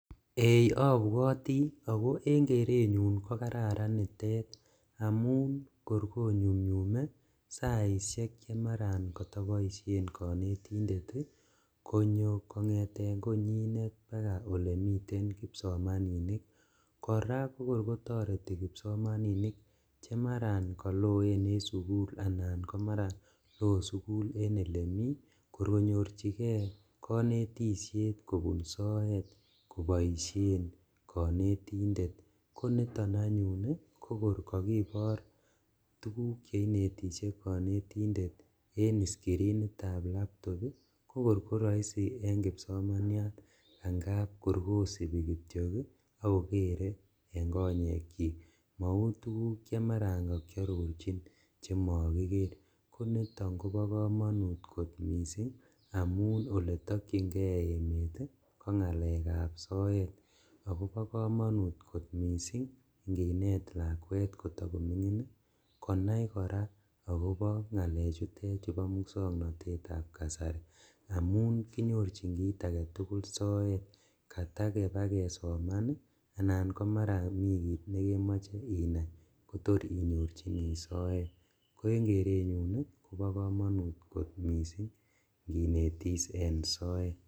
Eeh! Abwoti ago en kerenyun kokararan nitet amun korkonyumnyume saisiek che maraat kotaboisien konetindet konyo kongete konyinet paka olemiten kipsomaninik. Kora kokorkotareti kipsomaninik chemara kaloen en sugul anan komara lo sugul en olemi, kor konyorchige konetisiet kobun soet koboisien konetindet. Koniton anyun kokor kakibor tuguk che inetisie konetindet en iskirinitab laptop, kokor koraisi en kipsomaniat angap korkosipi kityok ak kogere eng konyekyik. Mau tuguk che marakakiarorchin chemakiker. Koniton koba kamanut mising amun oletakyinge emet kongalekab soet agobo kamanut kot mising nginet lakwet kotakomingin konai kora ngalechutet chebo muswoknatetab kasari amun kinyorchin kit agetugul soet. Kata kibakesoman anan ko mara mikit nekemoche inai kotor inyorchini soet. Ko eng kerenyun koba kamanut kot mising kinetis en soet.